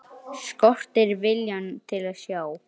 Skortir viljann til að sjá.